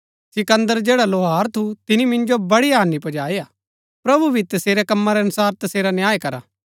सिकन्दर जैड़ा लौहार थू तिनी मिन्जो बड़ी हानि पुजाई हा प्रभु ही तसेरै कमां रै अनुसार तसेरा न्याय करा